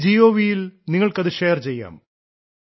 my gov യിൽ നിങ്ങൾക്കത് share ചെയ്യാം